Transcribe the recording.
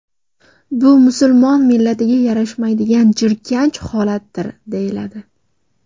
Bu musulmon millatiga yarashmaydigan jirkanch holatdir”, deyiladi.